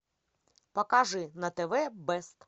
покажи на тв бест